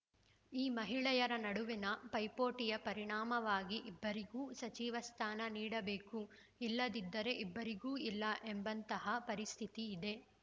ಈ ಮಹಿಳೆಯರ ನಡುವಿನ ಪೈಪೋಟಿಯ ಪರಿಣಾಮವಾಗಿ ಇಬ್ಬರಿಗೂ ಸಚಿವ ಸ್ಥಾನ ನೀಡಬೇಕು ಇಲ್ಲದಿದ್ದರೆ ಇಬ್ಬರಿಗೂ ಇಲ್ಲ ಎಂಬಂತಹ ಪರಿಸ್ಥಿತಿ ಇದೆ